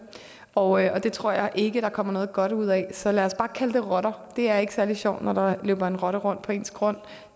og det tror jeg ikke der kommer noget godt ud af så lad os bare kalde det rotter og det er ikke særlig sjovt når der løber en rotte rundt på ens grund